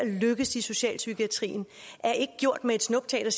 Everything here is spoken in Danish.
lykkes i socialpsykiatrien er ikke gjort med et snuptag